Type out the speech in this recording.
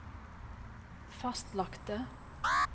fastlagte